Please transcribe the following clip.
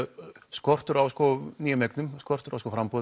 skortur á nýjum eignum skortur á framboði